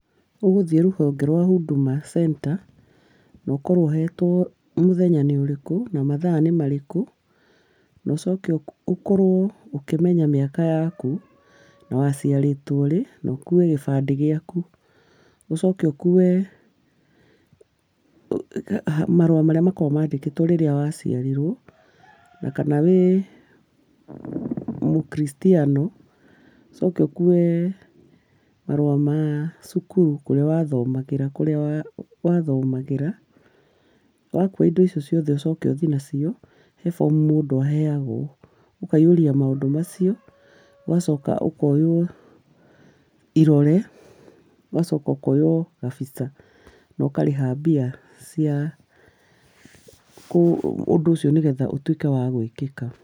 Ũgũthiĩ rũhonge rwa Huduma center, na ũkorwo ũhetwo mũthenya nĩ ũrĩkũ na mathaa nĩ marĩkũ, na ũcoke ũkorwo ũkĩmenya mĩaka yaku na waciarĩtwo rĩ, na ũkũe gĩbandĩ gĩaku, ũcoke ũkũwe marũa marĩa makoragwo mandĩkĩtwo rĩrĩa wa ciarirwo na kana wĩ mũkrictiano, ũcoke ũkuwe marũa ma cukuru kũrĩa wa thomagĩra kũrĩa wa thomagĩra. Wakua indo icio ciothe, ũcoke ũthiĩ na cio he bomu mũndũ aheagwo, ũkaihũria maũndũ macio, ũgacoka ũkoywo irore, ũgacoka ũkoywo kabicha, na ũkarĩha mbia cia ũndũ ũcio nĩgetha ũtuĩke wagwĩkĩka.